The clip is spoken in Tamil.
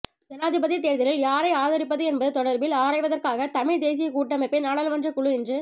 ஜனாதிபதித் தேர்தலில் யாரை ஆதரிப்பது என்பது தொடர்பில் ஆராய்வதற்காக தமிழ்த் தேசியக் கூட்டமைப்பின் நாடாளுமன்றக்குழு இன்று